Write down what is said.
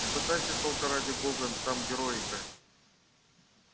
не пытайся только ради бога там героя играть